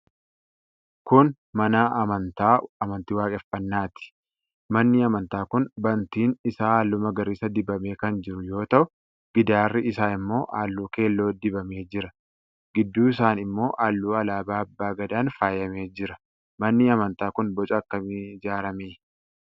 Kun mana amantaa amantii Waaqeffannaati. Manni amantaa kun bantiin isaa halluu magariisa dibamee kan jiru yoo ta'u, gidaarri isaa ammoo halluu keelloo dibamee jira. Gidduu isaan ammoo halluu alaabaa Abba gadaan faayamee jira. Manni amantaa kun boca akkamiin ijaarame?